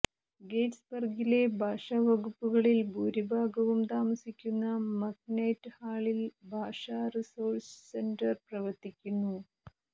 ഗെറ്റിസ്ബർഗിലെ ഭാഷാ വകുപ്പുകളിൽ ഭൂരിഭാഗവും താമസിക്കുന്ന മക്നൈറ്റ് ഹാളിൽ ഭാഷ റിസോഴ്സ് സെന്റർ പ്രവർത്തിക്കുന്നു